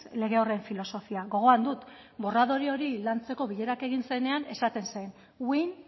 lege horren filosofia gogoan dut borradore hori lantzeko bilera egin zenean esaten zen win